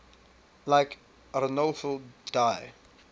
like arnolfo di